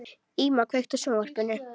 Íma, kveiktu á sjónvarpinu.